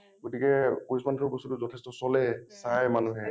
গতিকে কৃষ্ণ nath ৰ বস্তুটো যথেষ্ট চলে চাই মানুহে